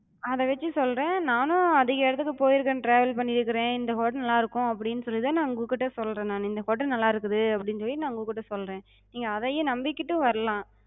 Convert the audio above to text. அத வெச்சு சொல்றே, நானு அதிக இடத்துக்குப் போயிருக்கே travel பண்ணிருக்குறே, இந்த hotel நல்லா இருக்கு அப்டின்னு சொல்லிதா நா உங்ககிட்ட சொல்றே நானு, இந்த hotel நல்லா இருக்குது அப்டின்னு சொல்லி நா உங்ககிட்ட சொல்றே. நீங்க அதயே நம்பிக்கிட்டு வர்லா.